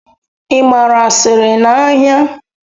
Ị gbara asịrị n'ahịa?